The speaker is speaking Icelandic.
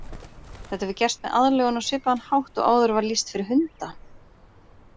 Þetta hefur gerst með aðlögun á svipaðan hátt og áður var lýst fyrir hunda.